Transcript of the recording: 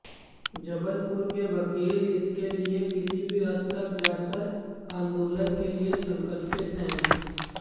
जबलपुर के वकील इसके लिए किसी भी हद तक जाकर आंदोलन के लिए संकल्पित हैं